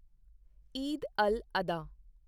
Eid al Adha